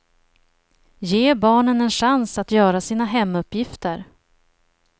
Ge barnen en chans att göra sina hemuppgifter.